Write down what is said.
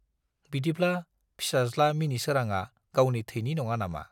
बिदिब्ला फिसाज्ला मिनिसोरांआ गावनि थैनि नङा नामा!